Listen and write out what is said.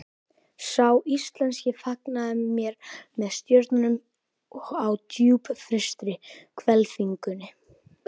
Sá íslenski fagnaði mér með stjörnum á djúpfrystri hvelfingunni.